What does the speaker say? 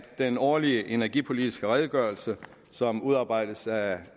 den årlige energipolitiske redegørelse som udarbejdes af